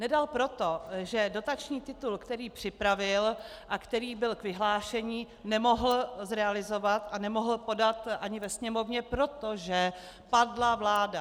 Nedal proto, že dotační titul, který připravil a který byl k vyhlášení, nemohl zrealizovat a nemohl podat ani ve Sněmovně, protože padla vláda.